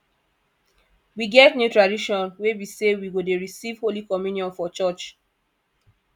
we get new tradition wey be say we go dey receive holy communion for church